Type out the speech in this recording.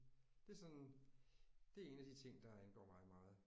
Det sådan det er en af de ting der angår mig meget